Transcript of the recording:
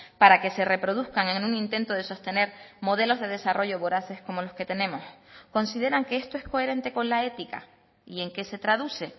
para que se reproduzcan en un intento de sostener modelos de desarrollo voraces como los que tenemos consideran que esto es coherente con la ética y en qué se traduce